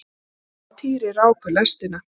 Jóra og Týri ráku lestina.